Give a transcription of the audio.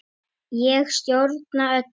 Ég stjórna öllu.